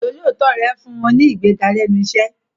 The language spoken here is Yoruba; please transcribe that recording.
Ìjọ́lóòótọ́ rẹ̀ fún un ní ìgbéga lẹ́nu iṣẹ́.